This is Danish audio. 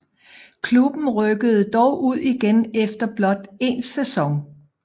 Klubben rykkede dog ud igen efter blot en sæson